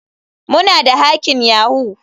Muna da hacking yahoo.